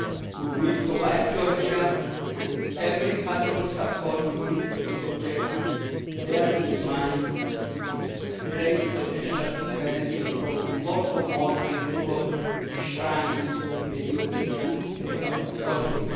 We will provide Georgia with every possible support in meeting this objective, bearing in mind its great potential to benefit from the more for more' principle enshrined in the European Neighbourhood Policy.